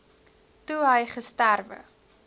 toe hy gesterwe